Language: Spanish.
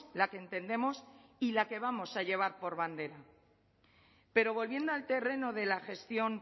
la que entendemos y la que vamos a llevar por bandera pero volviendo al terreno de la gestión